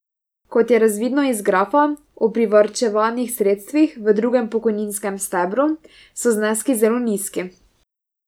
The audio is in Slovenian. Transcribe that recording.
Kot je razvidno iz grafa o privarčevanih sredstvih v drugem pokojninskem stebru, so zneski zelo nizki.